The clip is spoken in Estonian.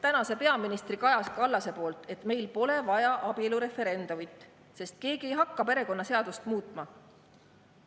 … tänase peaministri Kaja Kallase poolt, et meil pole vaja abielureferendumit, sest keegi ei hakka perekonnaseadust muutma.